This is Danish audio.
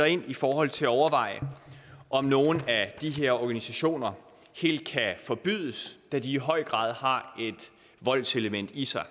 ind i forhold til at overveje om nogle af de her organisationer helt kan forbydes da de i høj grad har et voldselement i sig